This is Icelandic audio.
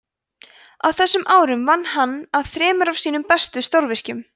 á þessum árum vann hann að þremur af sínum mestu stórvirkjum